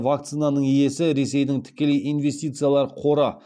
вакцинаның иесі ресейдің тікелей инвестициялар қоры